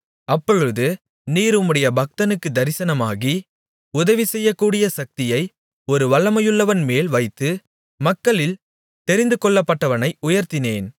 அப்பொழுது நீர் உம்முடைய பக்தனுக்குத் தரிசனமாகி உதவிசெய்யக்கூடிய சக்தியை ஒரு வல்லமையுள்ளவன்மேல் வைத்து மக்களில் தெரிந்துகொள்ளப்பட்டவனை உயர்த்தினேன்